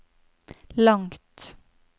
langt